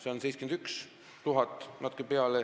Neid on 71 000 ja natuke peale.